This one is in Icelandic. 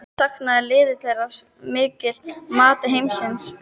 Saknaði liðið þeirra mikið að mati Heimis?